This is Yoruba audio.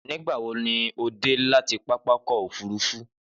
Nígbà wo ni o dé láti pápákọ̀ òfúrufú